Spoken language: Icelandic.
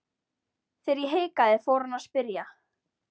Þegar ég hikaði fór hann að spyrja.